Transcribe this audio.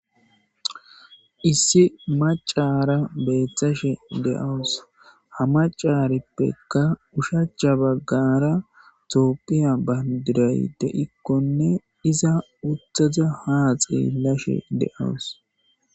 issi macara beeththashe de7awus ha macarippekka ushacha baggara toophiya bandiray de ikkonne iza uttaza haa xeelashe de7awus